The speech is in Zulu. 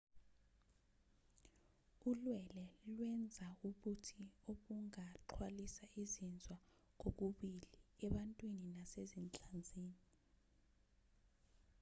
ulwele lwenza ubuthi obungaxhwalisa izinzwa kokubili ebantwini nasezinhlanzini